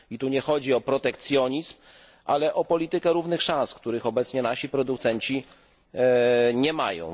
Tu nie chodzi o protekcjonizm, ale o politykę równych szans, których obecnie nasi producenci nie mają.